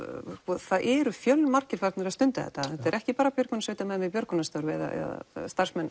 það eru fjölmargir farnir að stunda þetta þetta eru ekki bara björgunarsveitamenn við björgunarstörf eða starfsmenn